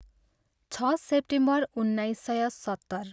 छ सेप्टेम्बर उन्नाइस सय सत्तर।